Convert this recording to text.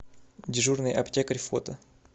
дежурный аптекарь фото